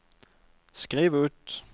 skriv ut